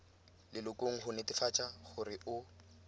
lelokong go netefatsa gore o